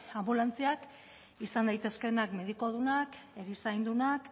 anbulantziak izan daitezkeenak medikudunak erizaindunak